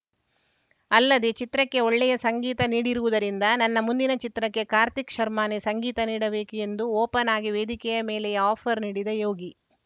ಅಲ್ಲದೇ ಚಿತ್ರಕ್ಕೆ ಒಳ್ಳೆಯ ಸಂಗೀತ ನೀಡಿರುವುದರಿಂದ ನನ್ನ ಮುಂದಿನ ಚಿತ್ರಕ್ಕೆ ಕಾರ್ತಿಕ್‌ ಶರ್ಮಾನೇ ಸಂಗೀತ ನೀಡಬೇಕು ಎಂದು ಓಪನ್‌ ಆಗಿ ವೇದಿಕೆಯ ಮೇಲೆಯೇ ಆಫರ್‌ ನೀಡಿದ ಯೋಗಿ